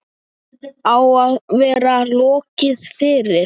Á að vera lokið fyrir